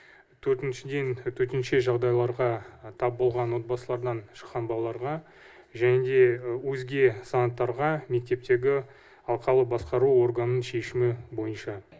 төртіншіден төтенше жағдайларға тап болған отбасылардан шыққан балаларға және де өзге санаттарға мектептегі алқалық басқару органының шешімі бойынша